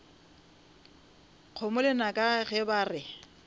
kgomo lenaka ge ba re